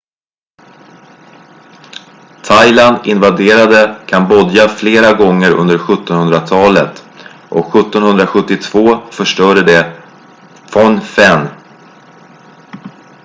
thailand invaderade kambodja flera gånger under 17-hundratalet och 1772 förstörde de phnom phen